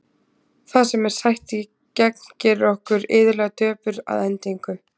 Það sem er sætt í gegn gerir okkur iðulega döpur að endingu.